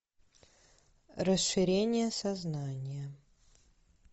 расширение сознания